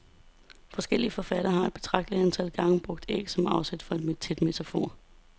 Forskellige forfattere har et betragteligt antal gange brugt æg som afsæt til en metafor.